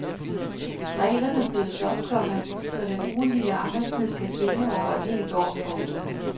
Reglerne blødes op, komma så den ugentlige arbejdstid kan svinge over et helt år. punktum